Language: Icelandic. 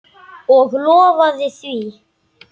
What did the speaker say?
Og lofaði því.